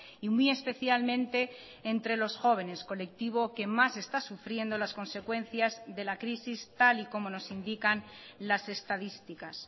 y muy especialmente entre los jóvenes colectivo que más está sufriendo las consecuencias de la crisis tal y como nos indican las estadísticas